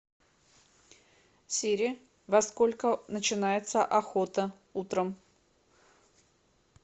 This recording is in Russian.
сири во сколько начинается охота утром